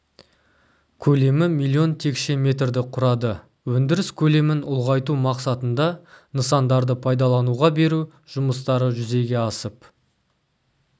көлемі миллион текше метрді құрады өндіріс көлемін ұлғайту мақсатында нысандарды пайдалануға беру жұмыстары жүзеге асып